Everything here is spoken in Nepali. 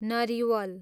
नरिवल